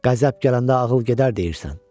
Qəzəb gələndə ağıl gedər deyirsən.